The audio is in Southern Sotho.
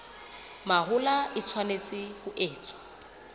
mahola e tshwanetse ho etswa